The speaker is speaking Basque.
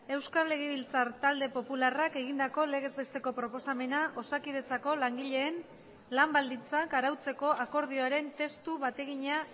euskal legebiltzar talde popularrak egindako legez besteko proposamena osakidetzako langileen lan baldintzak arautzeko akordioaren testu bategina